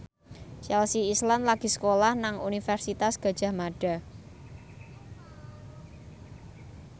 Chelsea Islan lagi sekolah nang Universitas Gadjah Mada